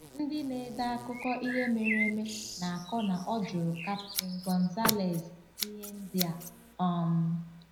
Ndị na-ede akụkọ ihe mere eme na-akọ na ọ jụrụ Captain González ihe ndị a: um